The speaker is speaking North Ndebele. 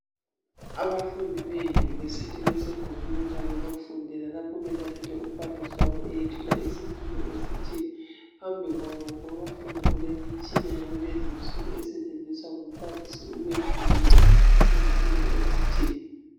Abafundi beyunivesithi besegumbini labo lokufundela . Lapho belalele umbalisi wabo eyethula isifundo esithile . Phambi kwabo kwabafundi kulemitshina yakulezinsuku esetshenziswa ngumbalisi ukwefundisa izifundo ezithile.